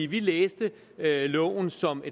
vi læste loven som